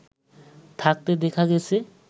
থাকতে দেখা গেছে